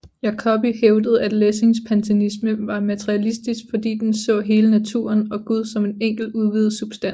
Jacobi hævdede at Lessings panteisme var materialistisk fordi den så hele naturen og Gud som en enkelt udvidet substans